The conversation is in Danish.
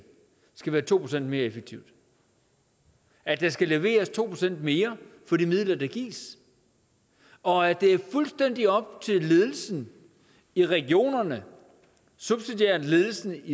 skal være to procent mere effektivt at der skal leveres to procent mere for de midler der gives og at det er fuldstændig op til ledelsen i regionerne subsidiært ledelsen